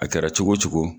A kɛra cogo o cogo